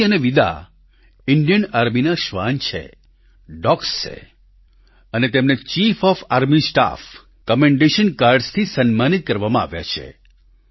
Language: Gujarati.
સોફી અને વિદા ઈન્ડિયન આર્મીના શ્વાન છે ડોગ્સ છે અને તેમને chief of army staff commendation cards થી સન્માનિત કરવામાં આવ્યા છે